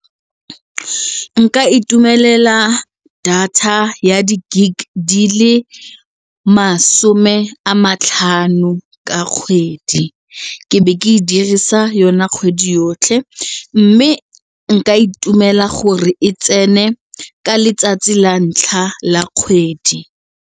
Nka itumelela data ya di-gig di le masome a matlhano ka kgwedi, ke be ke e dirisa yona kgwedi yotlhe mme nka itumela gore e tsene ka letsatsi la ntlha la kgwedi.